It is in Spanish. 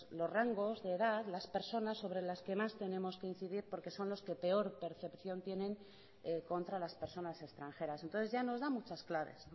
los rangos de edad las personas sobre las que más tenemos que incidir porque son los que peor percepción tienen contra las personas extranjeras entonces ya nos da muchas claves